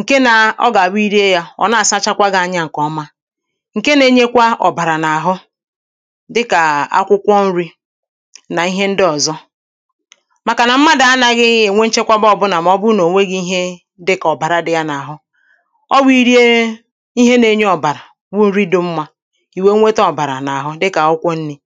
ǹke nāa ọ gà-àbụ i rie yā ọ̀ na-àsachakwa gị̄ anya ǹkè ọma ǹke nā-ēnyēkwā ọ̀bàrà n’àhụ dịkà akwụkwọ nrī nà ihe ndị ọ̀zọ màkànà mmadụ̀ anāghị̄ ènwe nchekwaba ọ̄bụ̄là mà ọ bụ nà ònweghī ihe dịkà ọ̀bàra dị̄ jā n’àhụ ọ wụ̄ i rie ihe nā-ēnyē ọ̀bàrà wụ nri dị̄ mmā ì wèe weta ọ̀bàrà n’àhʊ dịkà akwụkwọ nrī